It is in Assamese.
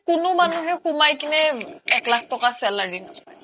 কোনো মনুহে সোমাই কিনে এক লাখ তকা salary নাপাই